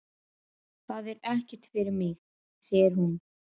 Það er ekkert fyrir mig, segir hún.